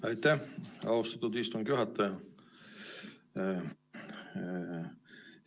Aitäh, austatud istungi juhataja!